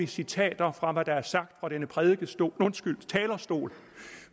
citater fra hvad der er sagt fra denne talerstol